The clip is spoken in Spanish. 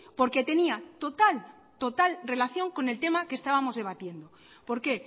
porque tenía total total relación con el tema que estábamos debatiendo por qué